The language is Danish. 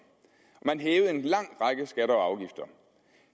man hævede en lang række skatter og afgifter